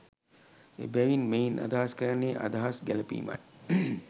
එබැවින් මෙයින් අදහස් කරන්නේ අදහස් ගැළැපීමයි.